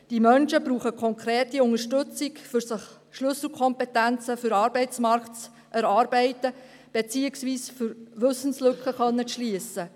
Diese Menschen brauchen konkrete Unterstützung, um sich Schlüsselkompetenzen für den Arbeitsmarkt zu erarbeiten, beziehungsweise um Wissenslücken zu schliessen.